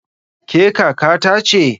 Ke kaka ta ce?